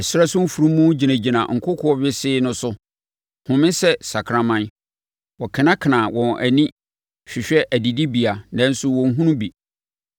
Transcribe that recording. Ɛsrɛ so mfunumu gyinagyina nkokoɔ wesee no so home sɛ sakraman; wɔkenakena wɔn ani hwehwɛ adidibea nanso wɔnhunu bi.”